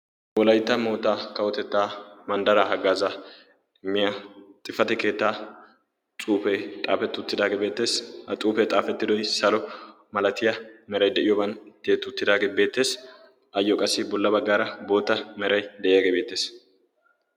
wolaytta mootaa kawotettaa manddaraa haggaaza miya xifati keettaa xuufee xaafetti uttidaagee beettees a xuufee xaafetti diyo salo malatiya meray de'iyooban keexxettidaagee beettees ayyo qassi bolla baggaara boota meray de'iyaagee beettees